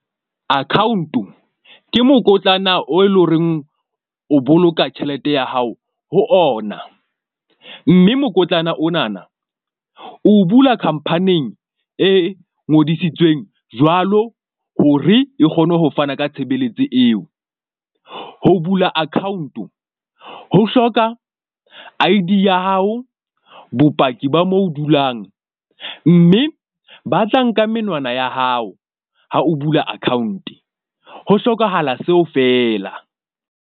Account-o ke mokotlana o eleng horeng o boloka tjhelete ya hao ho ona. Mme mokotlana onana o bula khampaning e ngodisitsweng jwalo, hore e kgone ho fana ka tshebeletso eo. Ho bula account-o ho hloka I_D ya hao, bopaki ba mo o dulang. Mme ba tla nka menwana ya hao ha o bula account ho hlokahala seo fela.